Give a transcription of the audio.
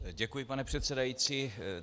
Děkuji, pane předsedající.